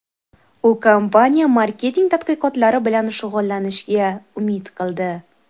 U kompaniya marketing tadqiqotlari bilan shug‘ullanishga umid qildi.